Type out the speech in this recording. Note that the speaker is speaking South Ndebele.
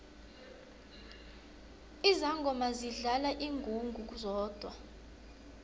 izangoma zidlala ingungu zodwa